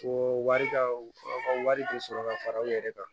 Ko wari ka u ka wari tɛ sɔrɔ ka fara u yɛrɛ kan